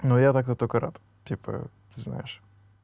ну я тогда только рад типа ты знаешь